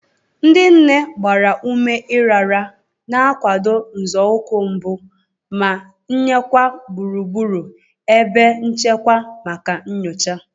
Ndị nne gbara ume ịrara, na-akwado nzọụkwụ mbụ, ma nyekwa gburugburu ebe nchekwa maka nyocha.